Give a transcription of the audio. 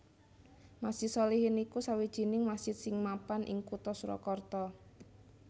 Masjid Sholihin iku sawijining masjid sing mapan ing Kutha Surakarta